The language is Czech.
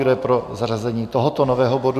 Kdo je pro zařazení tohoto nového bodu?